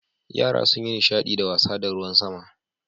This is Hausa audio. Yara sun yi nishadi da wasa da ruwan sama.